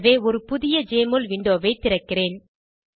எனவே ஒரு புதிய ஜெஎம்ஒஎல் விண்டோவை திறக்கிறேன்